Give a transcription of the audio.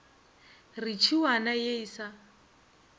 re tšhiwana ye e sa